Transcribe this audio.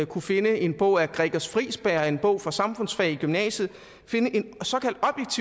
kunne finde i en bog af gregers friisberg en bog fra samfundsfag i gymnasiet